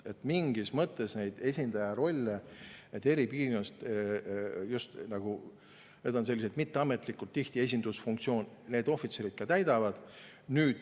Mingis mõttes neid esindaja rolle eri piirkondades – need on sellised mitteametlikud, tihti on see esindusfunktsioon – need ohvitserid täidavad.